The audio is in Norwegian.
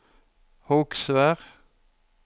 Hogsvær